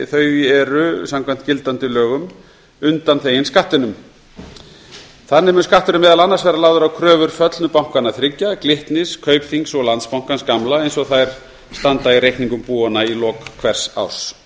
þau eru samkvæmt gildandi lögum undanþegin skattinum þannig verður skatturinn meðal annars lagður á kröfur föllnu bankanna þriggja glitnis kaupþings og landsbankans gamla eins og þær standa í reikningum búanna í lok hvers árs